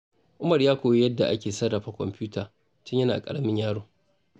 Umar ya koyi yadda ake sarrafa kwamfuta tun yana ƙaramin yaro.